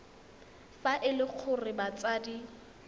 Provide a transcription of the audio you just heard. fa e le gore batsadi